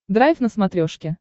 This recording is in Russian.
драйв на смотрешке